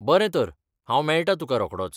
बरें तर हांव मेळटा तुकां रोखडोच .